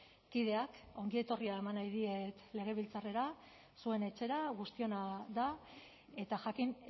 kideak ongietorria eman nahi diet legebiltzarrera zuen etxera guztiona da eta jakin